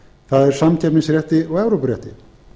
það er samkeppnisrétti og evrópurétti